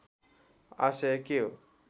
आशय के हो